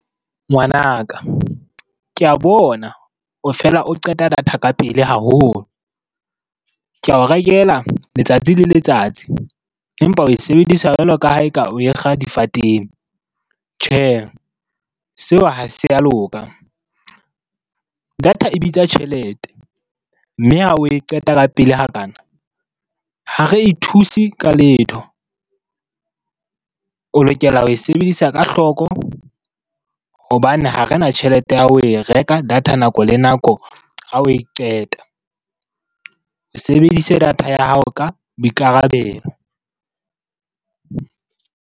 Ngwanaka, ke a bona o fela o qeta data ka pele haholo. Ke ao rekela letsatsi le letsatsi empa oe sebedisa jwalo ka ha eka oe kga difateng. Tjhe, seo ha se a loka. Data e bitsa tjhelete mme ha oe qeta ka pele hakana, ha re e thuse ka letho. O lokela ho e sebedisa ka hloko hobane ha re na tjhelete ya ho e reka data nako le nako ha oe qeta. Sebedise data ya hao ka boikarabelo.